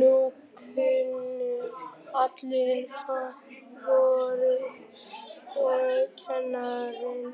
Nú kunnu allir faðirvorið og kennarinn